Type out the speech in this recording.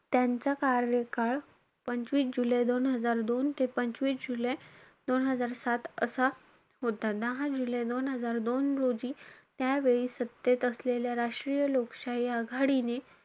त्यांचा कार्यकाळ, पंचवीस जुलै दोन हजार दोन ते पंचवीस जुलै दोन हजार सात असा होता. दहा जुलै दोन हजार दोन रोजी, त्यावेळी सत्तेत असलेल्या राष्ट्रीय लोकशाही आघाडीने,